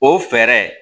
O fɛɛrɛ